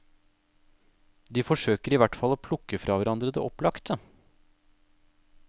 De forsøker i hvert fall å plukke fra hverandre det opplagte.